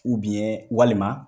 walima